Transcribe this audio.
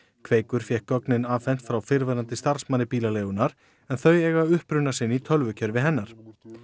kveikur fékk gögnin afhent frá fyrrverandi starfsmanni bílaleigunnar en þau eiga uppruna sinn í tölvukerfi hennar